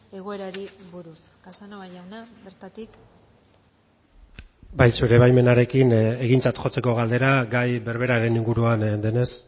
egoerari buruz casanova jauna bertatik bai zure baimenarekin egintzat jotzeko galdera gai berberaren inguruan denez